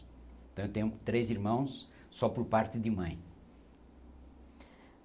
Então eu tenho três irmãos só por parte de mãe.